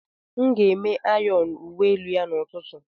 M ga-eme ayọn uwe elu ya n'ụtụtụ.